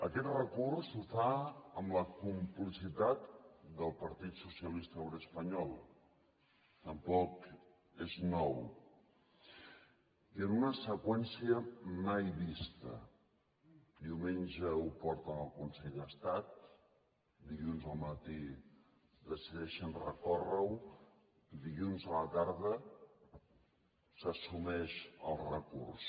aquest recurs el fa amb la complicitat del partit socialista obrer espanyol tampoc és nou i en una seqüència mai vista diumenge ho porten al consell d’estat dilluns al matí decideixen recórrerho dilluns a la tarda s’assumeix el recurs